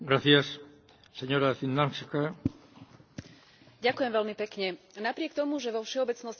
Napriek tomu, že vo všeobecnosti platí, že pre dieťa je najlepšie vyrastať v biologickej rodine, nie je to vždy tak.